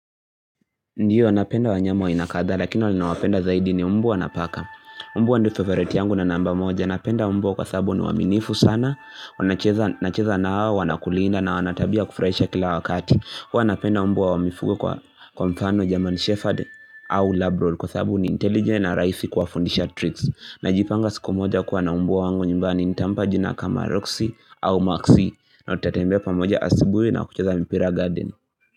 Ndio napenda wanyama wa aina kadhaa lakini wale nawapenda zaidi ni mbwa na paka Mbwa ni favorite yangu na namba moja napenda mbwa kwa sababu ni waaminifu sana, nacheza nao, wanakulinda na wanatabia ya kufurahisha kila wakati. Huwa napenda mbwa wa mifugo, kwa mfano German shepherd au Labroad kwa sababu ni intelligent na ni rahisi kuwafundisha tricks Najipanga siku moja kuwa na mbwa wangu nyumbani nitampa jina kama Roxy au Maxi na tutatembea pamoja asubuhi na kucheza mpira garden.